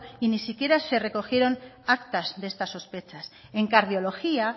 y ni siquiera se recogieron actas de estas sospechas en cardiología